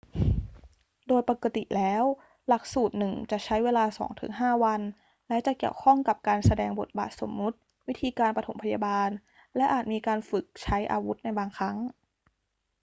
โดยปกติแล้วหลักสูตรหนึ่งจะใช้เวลา 2-5 วัน และจะเกี่ยวข้องกับการแสดงบทบาทสมมุติ วิธีการปฐมพยาบาล และอาจมีการฝึกใช้อาวุธในบางครั้ง